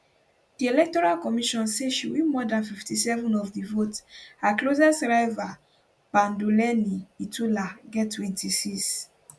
di electoral commission say she win more dan 57 of di vote her closest rival panduleni itula get 26